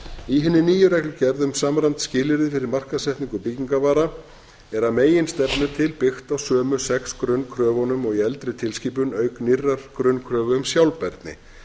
í hinni nýju reglugerð um samræmd skilyrði fyrir markaðssetningu byggingarvara er að meginstefnu til byggt á sömu sex grunnkröfunum og í eldri tilskipun auk nýrrar grunnkröfu um sjálfbærni